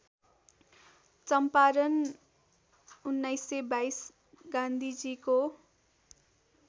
चम्पारण १९२२ गान्धीजीको